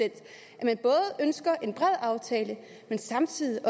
at han ønsker en bred aftale men samtidig